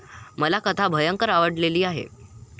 मला कथा भयंकर आवडलेली आहे.